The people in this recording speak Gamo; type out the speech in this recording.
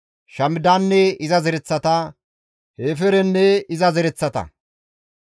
Shamidanne iza zereththata, Hefeerenne iza zereth.